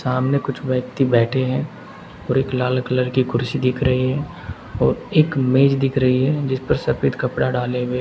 सामने कुछ व्यक्ति बैठे हैं और एक लाल कलर की कुर्सी दिख रही है और एक मेज दिख रही है जिस पर सफेद कपड़ा डाले हुए--